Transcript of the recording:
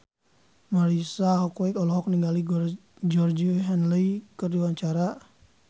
Marisa Haque olohok ningali Georgie Henley keur diwawancara